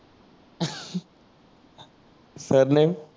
surname